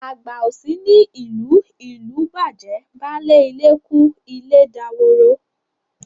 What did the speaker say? Àgbà ò sí ní ìlú, ìlú bàjẹ́, baálé ilé kú ilé daworo.